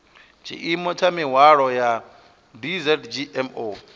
tshiimo tsha mihwalo ya dzgmo